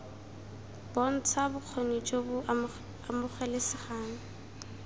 bontsha bokgoni jo bo amogelesegang